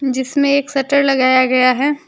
जिसमें एक शटर लगाया गया है।